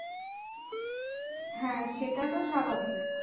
হ্যাঁ সেটা তো স্বাভাবিক।